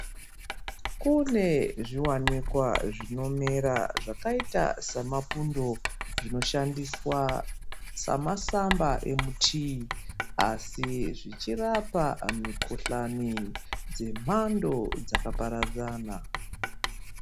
Kunezviwanikwa zvinomera zvakaita semapundo zvinoshandiswa semasamba emutii asi zvichirapa mikohlani dzemando dzakaparadzana.